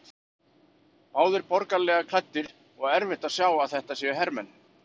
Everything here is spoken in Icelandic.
Báðir borgaralega klæddir og erfitt að sjá að þetta séu hermenn.